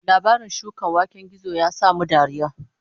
Labarin shukan waken gizo ya sa mu dariya